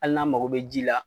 Ali n'an mago be ji la